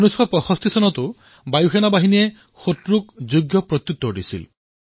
বায়ুসেনাই ১৯৬৫ চনতো আক্ৰমণকাৰীক উচিত প্ৰত্যুত্তৰ দিছিল